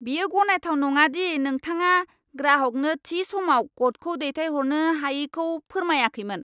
बेयो गनायथाव नङा दि नोंथाङा ग्राहकनो थि समाव क'डखौ दैथायहरनो हायैखौ फोरमायाखैमोन।